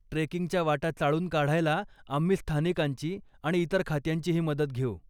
ट्रेकिंगच्या वाटा चाळून काढायला आम्ही स्थानिकांची आणि इतर खात्यांचीही मदत घेऊ.